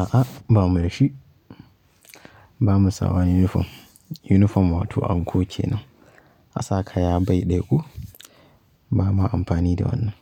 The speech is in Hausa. A'a ba mu da shi. Ba mu sa wani yunifom. Yunifom wato anko ke nan. A sa kaya bai dayako ba ma amfani da wannan.